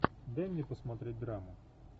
дай мне посмотреть драму